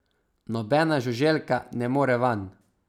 Nobena žuželka ne more vanj.